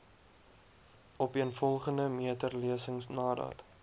opeenvolgende meterlesings nadat